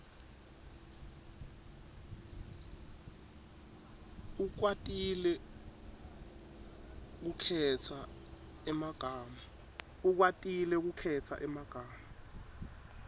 ukwatile kukhetsa emagama